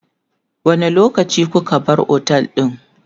wani lokaci kuka bar otel ɗin?